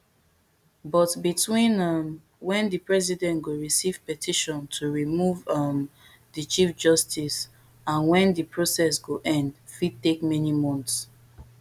but between um wen di president go receive petition to remove um di chief justice and when di process go end fit take many months